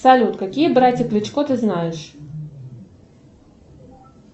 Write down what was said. салют какие братья кличко ты знаешь